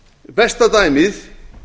besta dæmið